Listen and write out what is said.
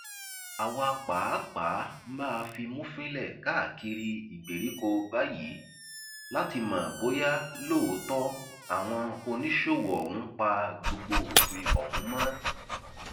àwa pàápàá máa fimú fínlẹ káàkiri ìgbèríko báyìí láti mọ bóyá lóòótọ àwọn oníṣòwò ọhún pa gbogbo òfin ọhún mọ